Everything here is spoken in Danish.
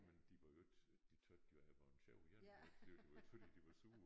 Men de var jo ikke de tøt jo jeg var jeg en sjov en det var ikke det var ikke fordi de var sure